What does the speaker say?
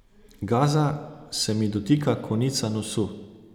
Gaza se mi dotika konca nosu.